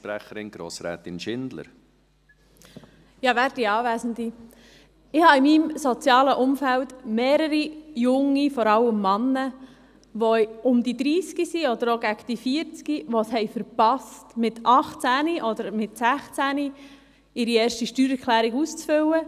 Ich habe in meinem sozialen Umfeld mehrere junge Leute, vor allem Männer, die um 30 Jahre alt sind oder auf die 40 zugehen, und die es verpasst haben, mit 16 oder 18 Jahren ihre erste Steuererklärung auszufüllen.